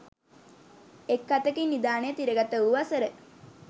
එක් අතකින් නිධානය තිරගත වූ වසර